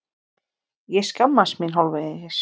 Ég skammast mín hálfvegis.